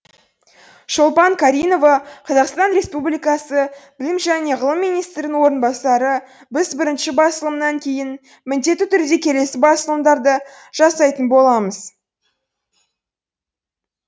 шолпан каринова қазақстан республикасы білім және ғылым министрінің орынбасары біз бірінші басылымнан кейін міндетті түрде келесі басылымдарды жасайтын боламыз